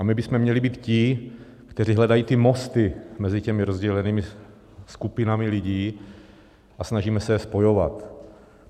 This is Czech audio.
A my bychom měli být ti, kteří hledají ty mosty mezi těmi rozdělenými skupinami lidí a snažíme se je spojovat.